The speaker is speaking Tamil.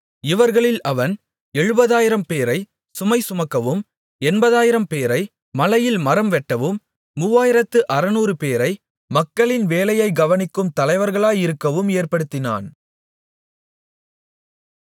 இவர்களில் அவன் எழுபதாயிரம்பேரை சுமைசுமக்கவும் எண்பதாயிரம்பேரை மலையில் மரம்வெட்டவும் மூவாயிரத்து அறுநூறுபேரை மக்களின் வேலையை கவனிக்கும் தலைவர்களாயிருக்கவும் ஏற்படுத்தினான்